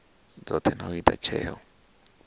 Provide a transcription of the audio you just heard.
dzothe na u ita tsheo